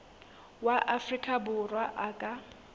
wa afrika borwa a ka